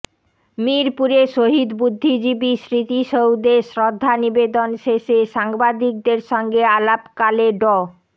মিরপুরে শহীদ বুদ্ধিজীবী স্মৃতিসৌধে শ্রদ্ধা নিবেদন শেষে সাংবাদিকদের সঙ্গে আলাপকালে ড